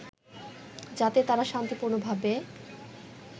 যাতে তারা শান্তিপূর্ণভাবে